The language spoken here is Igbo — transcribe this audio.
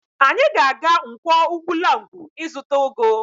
Anyị ga-aga Nkwọ Ugwulangwu ịzụta ụgụ